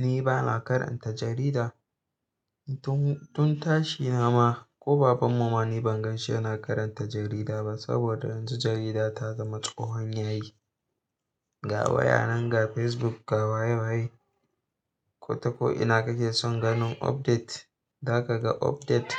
Ni bana karanta jarida. Tun, tun tashi na ma ko baban mu ma ni ban ganshi yana karanta jarida ba saboda yanzu jarida ta zama tsohon yayi. Ga waya nan, ga Facebook, ga waye waye. Ko ta ko'ina kake son ganin update, za ka ga update.